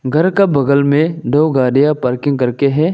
घर का बगल में दो गाड़ियां पार्किंग करके हैं।